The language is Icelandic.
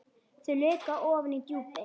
Þau leka ofan í djúpin.